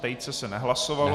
Tejce se nehlasovalo.